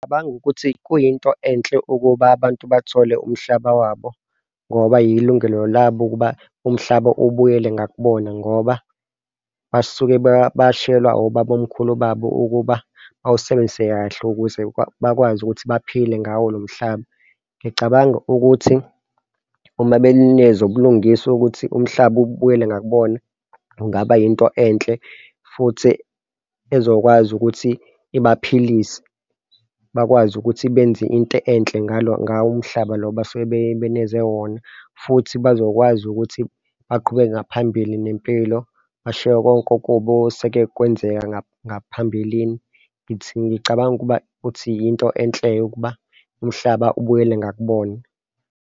Ngicabanga ukuthi kuyinto enhle ukuba abantu bathole umhlaba wabo ngoba kuyi lungelo labo ukuba umhlaba ubuyele ngakubona ngoba basuke bashiyelwa obabamkhulu babo ukuba bawusebenzise kahle ukuze bakwazi ukuthi baphile ngawo lo mhlaba. Ngicabanga ukuthi uma benenikezwe ubulungiswa ukuthi umhlaba ubuyele ngakubona kungaba yinto enhle futhi ezokwazi ukuthi ibaphilise. bakwazi ukuthi benze into enhle ngawo umhlaba lo abasuke benikezwe wona futhi bazokwazi ukuthi baqhubeke ngaphambili nempilo bashiye konke okubi oseke kwenzeka ngaphambilini, ngithi ngicabanga ukuba ukuthi yinto enhle-ke ukuba umhlaba ubuyele ngakubona.